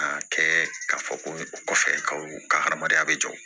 A kɛ ka fɔ ko kɔfɛ kaw ka hadamadenya be jɔ